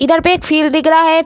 इधर पे एक फ़ील्ड दिख रहा है।